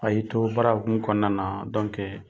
A y'i to baara hukumu kɔnɔna na